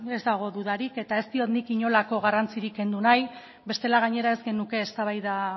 ez dago dudarik eta ez diot nik inolako garrantzirik kendu nahi bestela gainera ez genuke eztabaida